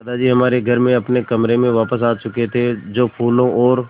दादाजी हमारे घर में अपने कमरे में वापस आ चुके थे जो फूलों और